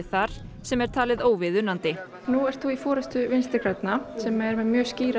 þar sem er talið óviðunandi nú ert þú í forystu vinstri grænna sem er með mjög skýra